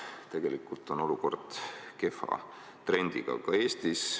Tegelikult on olukord kehva trendiga ka Eestis.